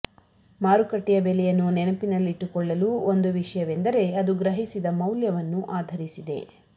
ಮಾರುಕಟ್ಟೆಯ ಬೆಲೆಯನ್ನು ನೆನಪಿನಲ್ಲಿಟ್ಟುಕೊಳ್ಳಲು ಒಂದು ವಿಷಯವೆಂದರೆ ಅದು ಗ್ರಹಿಸಿದ ಮೌಲ್ಯವನ್ನು ಆಧರಿಸಿದೆ